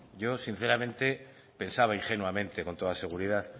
yo sinceramente pensaba ingenuamente con toda seguridad